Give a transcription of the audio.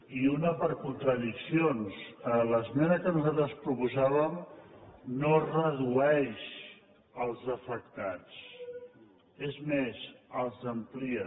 i una per contradiccions l’esmena que nosaltres proposàvem no redueix els afectats és més els amplia